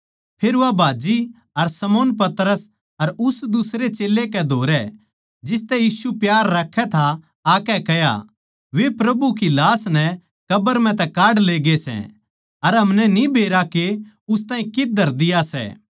फेर वा भाज्जी अर शमौन पतरस अर उस दुसरे चेल्लै कै धोरै जिसतै यीशु प्यार राक्खै था आकै कह्या वे प्रभु की लाश नै कब्र म्ह तै काढ लेगे सै अर हमनै न्ही बेरा के उस ताहीं कित्त धर दिया सै